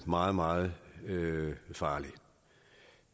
meget meget farlig